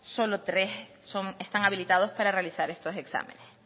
solo tres están habilitados para realizar estos exámenes